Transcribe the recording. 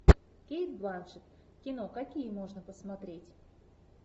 кейт бланшетт кино какие можно посмотреть